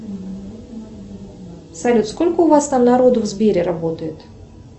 салют сколько у вас там народу в сбере работает